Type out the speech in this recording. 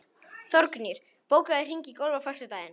Þórgnýr, bókaðu hring í golf á föstudaginn.